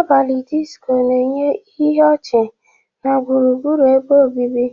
Abalị disiko na-enye ihe ọchị na gburugburu ebe obibi